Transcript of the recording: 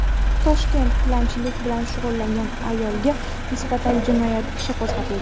Toshkentda tilanchilik bilan shug‘ullangan ayolga nisbatan jinoyat ishi qo‘zg‘atildi.